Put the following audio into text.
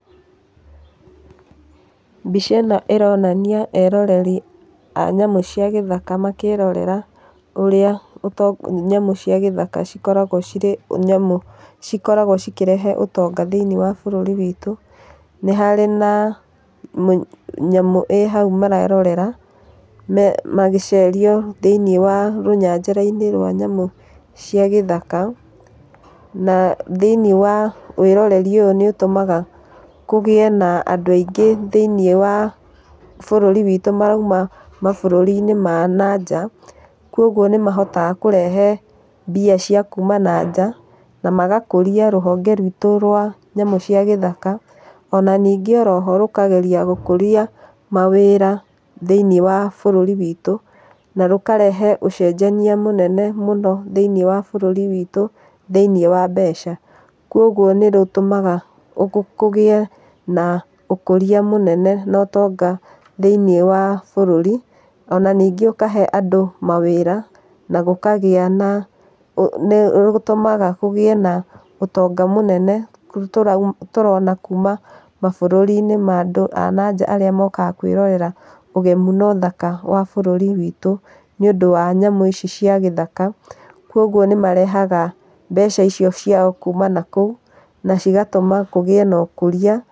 Mbica ĩno ĩronania eroreri a nyamũ cia gĩthaka makĩrorera ũrĩa nyamũ cia gĩthaka cikoragwo cĩrĩ nyamũ cikoragwo cikĩrehe ũtonga thĩinĩe wa bũrũri witũ. Nĩ harĩ na nyamũ ĩhau marerorera na magĩcerio thĩiniĩ wa rũnyanjara-inĩ rwa nyamũ cia gĩthaka na thĩinĩe wa wĩroreri ũyũ nĩ ũtũmaga kũgĩe na andũ aingĩ thĩinĩe wa bũrũri witũ marauma mabũrũri-inĩ ma na njaa kwa ũguo nĩmahotaga kũrehe mbia cia kuma na njaa na magakũrĩa rũhonge rwitũ rwa nyamũ cia gĩthaka ona ningĩ oroho rũkageria gũkũria mawĩra thĩinĩe wa bũrũri witũ na rũkarehe ũcenjania mũnene mũno thĩinĩe wa bũrũri witũ thĩinĩe wa mbeca kwa ũguo nĩrũtũmaga kũgie na ũkũria mũnene na ũtonga thĩinĩe wa bũrũri ona ningĩ ũkahe andũ mawĩra na gũkagĩa nĩ gũtũmaga kũgĩe na ũtonga mũnene tũrona kuma mabũrũri-inĩ ma andũ a na njaa arĩa mokaga kwĩrorera ũgemu na ũthaka wa bũrũri witũ nĩũndũ wa nyamũ ici cia gĩthaka kwa ũguo nĩmarehaga mbeca icio ciao kuma nakũũ na cigatũma kũgĩe na ũkũria.